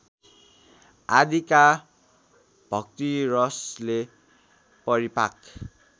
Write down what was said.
आदिका भक्तिरसले परिपाक